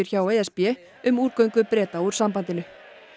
hjá e s b um úrgöngu Breta úr sambandinu